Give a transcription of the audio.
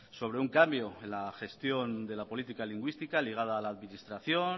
sobre un cambio en la gestión de la política lingüística ligada a la administración